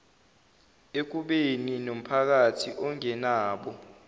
ekubeni nompakathi ongenabo